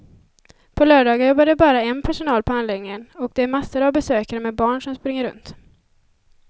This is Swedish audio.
På lördagar jobbar det bara en personal på anläggningen och det är massor av besökare med barn som springer runt.